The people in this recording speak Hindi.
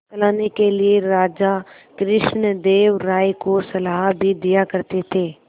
चलाने के लिए राजा कृष्णदेव राय को सलाह भी दिया करते थे